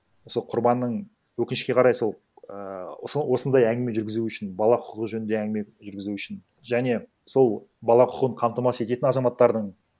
сол құрбанның өкінішке қарай сол ііі осындай әңгіме жүргізу үшін бала құқығы жөнінде әңгіме жүргізу үшін және сол бала құқығын қамтамасыз ететін азаматтардың